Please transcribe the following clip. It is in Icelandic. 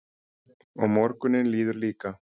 Og morgunninn líður líka.